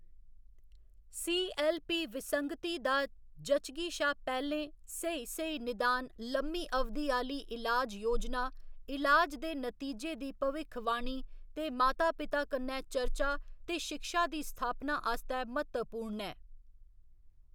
C. L. P. विसंगती दा जच्चगी शा पैह्‌लें स्हेई स्हेई निदान लम्मी अवधि आह्‌ली इलाज योजना, इलाज दे नतीजे दी भविक्खवाणी, ते माता पिता कन्नै चर्चा ते शिक्षा दी स्थापना आस्तै म्हत्तवपूर्ण ऐ।